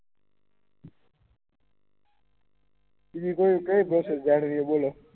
બીજુ કોઈ કેહ જાણુ ગઈ બોલો